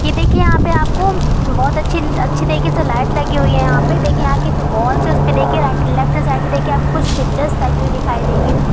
ये देखिए यहा पे आपको बहुत अच्छे अच्छी तरीके से लाइट लगी हुई है यहा पे देखिए यहाँ की जो वॉल्स है उसपे देखिए राइ लेफ्ट साइड पे देखिए आप कुछ पिक्चर टंगे हुई दिखाई देंगे ।